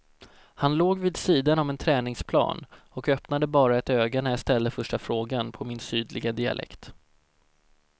Han låg vid sidan om en träningsplan och öppnade bara ett öga när jag ställde första frågan på min sydliga dialekt.